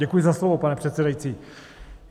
Děkuji za slovo, pane předsedající.